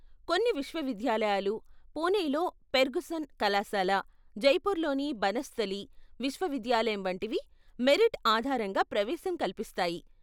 కొన్ని విశ్వవిద్యాలయాలు, పూణేలో ఫెర్గుసన్ కళాశాల, జైపూర్లోని బనస్థలి విశ్వవిద్యాలయం వంటివి మెరిట్ ఆధారంగా ప్రవేశం కల్పిస్తాయి.